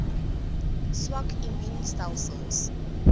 swak immuun stelsels